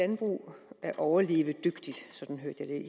landbrug er overlevedygtigt sådan hørte jeg